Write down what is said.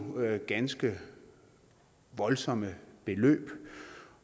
ganske voldsomme beløb